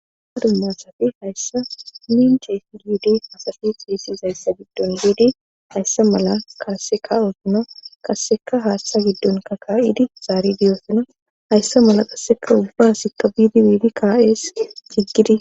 Ha dummasafi hayssa minche bidi hayssa malla kasse ka'ossona hayssa giddon biidi kasseka haaththa giddonka ka'idi zaari diyoosuna hayssa mala qasseka ubbaasikka biidi biidi ka'ees bira cigidi